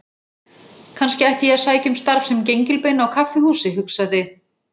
Kannski ætti ég að sækja um starf sem gengilbeina á kaffihúsi, hugsaði